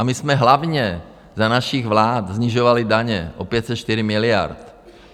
A my jsme hlavně za našich vlád snižovali daně o 504 miliard.